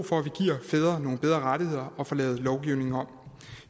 for at vi giver fædre nogle bedre rettigheder og får lavet lovgivningen om